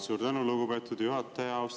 Suur tänu, lugupeetud juhataja!